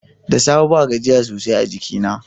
Da safe ba gajiya sosai a jikina.